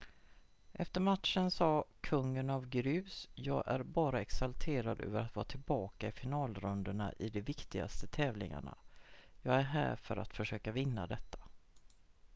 "efter matchen sa kungen av grus: "jag är bara exalterad över att vara tillbaka i finalrundorna i de viktigaste tävlingarna. jag är här för att försöka vinna detta.""